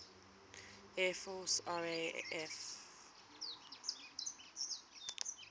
air force raaf